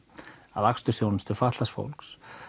akstursþjónustu fatlaðs fólks